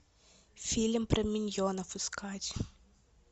фильм про миньонов искать